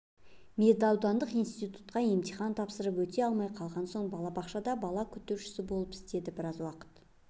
медаудандық институтқа емтихан тапсырып өте алмай қалған соң балабақшада бала күтуші болып істеді біраз уақыт